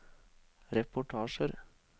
reportasjer